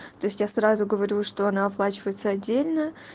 то есть я сразу говорю что она оплачивается отдельно